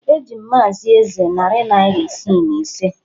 Eji m Maazị Eze narị naira isii na ise